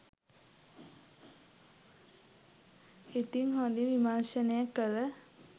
ඉතින් හොදින් විමර්ශනය කල